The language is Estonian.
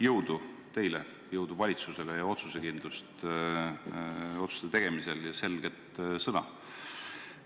Jõudu teile ja jõudu valitsusele ning otsusekindlust otsuste tegemisel ja selget sõna!